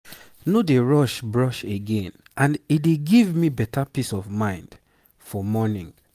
no dey rush brush again and e dey give me better peace of mind for morning.